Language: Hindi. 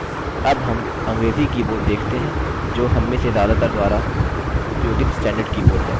अब हम अंग्रेजी कीबोर्ड देखते हैं जो हममें से ज्यादातर द्वारा उपयोगित स्टैंडर्ड कीबोर्ड है